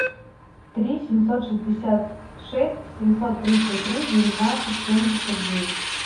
три семьсот шестьдесят шесть семьсот тридцать три девятнадцать семьдесят девять